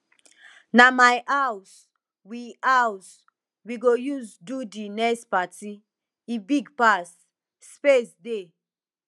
na my house we house we go use do di next party e big pass space dey